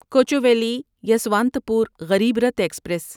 Kochuveli Yesvantpur Garib Rath express